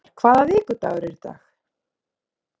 Rafnar, hvaða vikudagur er í dag?